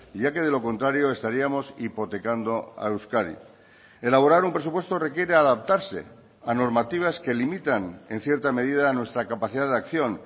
ya que de lo contrario estaríamos hipotecando a euskadi elaborar un presupuesto requiere adaptarse a normativas que limitan en cierta medida nuestra capacidad de acción